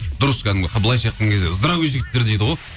дұрыс кәдімгі былайынша айтқан кезде здравый жігіттер дейді ғой